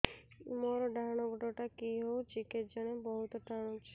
ମୋର୍ ଡାହାଣ୍ ଗୋଡ଼ଟା କି ହଉଚି କେଜାଣେ ବହୁତ୍ ଟାଣୁଛି